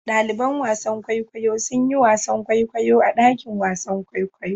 Ɗaliban wasan kwaikwayo sun yi wasan kwaikwayo a dakin wasan kwaikwayo.